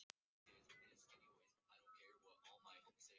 Marheiður, hvað er mikið eftir af niðurteljaranum?